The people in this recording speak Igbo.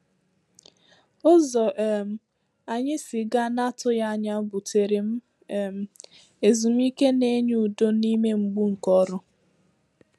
Ụzọ um anyị sịgà n’atụghị anya bùtèrè m um ezumike na-enye udo n’ime mgbu nke ọrụ.